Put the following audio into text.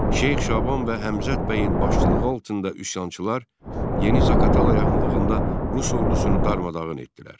Şeyx Şaban və Həmzət bəyin başçılığı altında üsyançılar Yeni Zaqatala yaxınlığında rus ordusunu darmadağın etdilər.